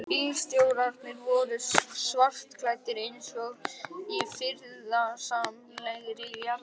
Bílstjórarnir voru svartklæddir, eins og í friðsamlegri jarðarför.